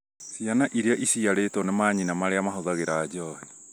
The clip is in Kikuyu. ciana iria iciarĩtwo nĩ manyina marĩa mahũthagĩra njohi